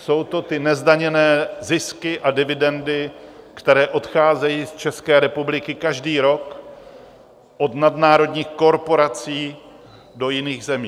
Jsou to ty nezdaněné zisky a dividendy, které odcházejí z České republiky každý rok od nadnárodních korporací do jiných zemí.